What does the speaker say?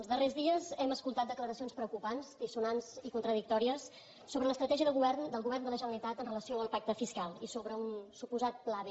els darrers dies hem escoltat declaracions preocupants dissonants i contradictòries sobre l’estratègia del govern del govern de la generalitat amb relació al pacte fiscal i sobre un suposat pla b